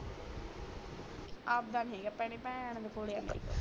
ਆਪਦਾ ਨੀ ਹੈ ਭੈਣੇ ਭੈਣ ਦੇ ਕੋਲ ਮੇਰੀ